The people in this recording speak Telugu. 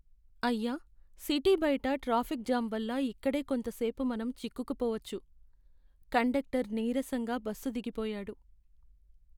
అయ్యా, సిటీ బయట ట్రాఫిక్ జామ్ వల్ల ఇక్కడే కొంత సేపు మనం చిక్కుకుపోవచ్చు! కండక్టర్ నీరసంగా బస్సు దిగిపోయాడు.